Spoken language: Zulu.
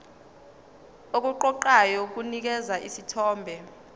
okuqoqayo kunikeza isithombe